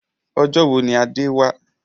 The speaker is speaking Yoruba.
Ọjọ́ wo ni Adé wá?